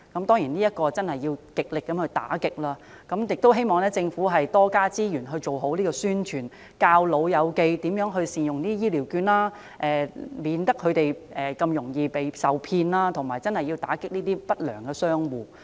當然，這些情況要極力打擊，我亦希望政府能夠增加資源，多作宣傳，教長者善用醫療券，免得他們受騙，並打擊不良商戶。